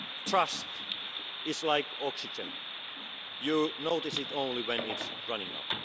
investors. Trust is like oxygen, you notice it only when it's running